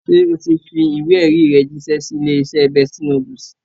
Ṣé o ti fi ìwé-ẹ̀rí rẹ jíṣẹ́ sí ilé-iṣẹ́ Bestie Noodles?